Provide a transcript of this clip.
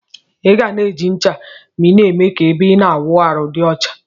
Iga na eji ncha ma ina eme ka ebe ina awụ arụ di ọcha.